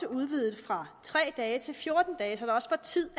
udvidet fra tre dage til fjorten dage så der også er tid